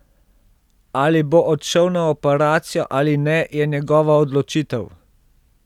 Ali bo odšel na operacijo ali ne, je njegova odločitev.